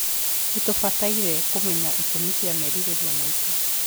Nĩ tũbataire kũmenya itũmi cia merirĩria maitũ.